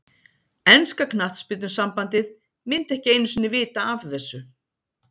Enska knattspyrnusambandið myndi ekki einu sinni vita af þessu.